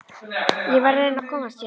Ég verð að reyna að komast héðan.